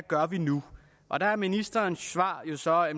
gør nu og der er ministerens svar svar at